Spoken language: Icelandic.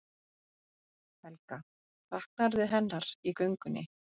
Helga: Saknarðu hennar í göngunni?